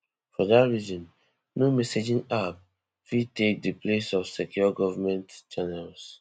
for dat reason no messaging app fit take take di place of secure government channels